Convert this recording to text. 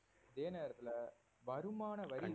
அதே நேரத்தில வருமான வரி